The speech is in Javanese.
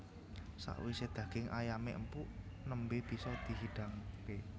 Sakwise daging ayamé empuk nembé bisa di hidangké